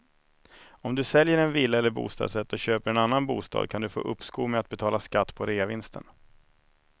Om du säljer en villa eller bostadsrätt och köper en annan bostad kan du få uppskov med att betala skatt på reavinsten.